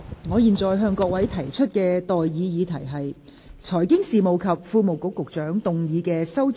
我現在向各位提出的待議議題是：財經事務及庫務局局長動議的修正案，予以通過。